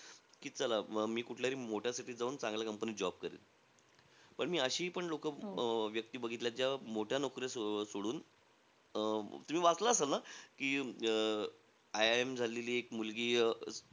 की चला मी कुठल्यातरी मोठ्या city त जाऊन चांगल्या company मध्ये job करेल. पण, मी अशीही पण लोक अं व्यक्ती बघितल्या ज्या मोठी नौकरी सोडून. अं तुम्ही वाचला असाल ना की अं IIM झालेली एक मुलगी, अं